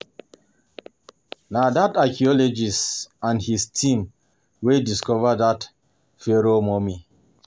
Na dat archeologist and his team wey discover dat Pharoah Mummy